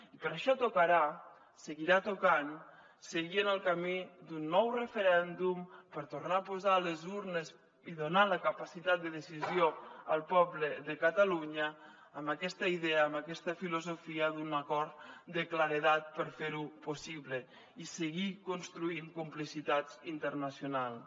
i per això tocarà seguirà tocant seguir en el camí d’un nou referèndum per tornar a posar les urnes i donar la capacitat de decisió al poble de catalunya amb aquesta idea amb aquesta filosofia d’un acord de claredat per fer ho possible i seguir construint complicitats internacionals